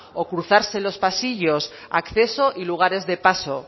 o cruzarse en los pasillos acceso y lugares de paso